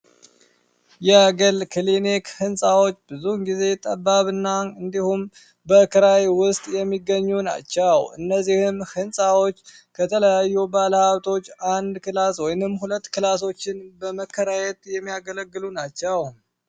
የግል ክኒሊክ ሕንፃዎች ብዙን ጊዜ ጠባብና እንዲሁም በእክራይ ውስጥ የሚገኙ ናቸው። እነዚህም ሕንፃዎች ከተለያዩ ባለሀብቶች አንድ ክላስ ወይንም ሁለት ክላሶችን በመከራየት የሚያገለግሉ ናቸው።